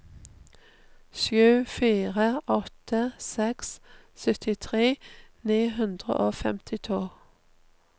sju fire åtte seks syttitre ni hundre og femtito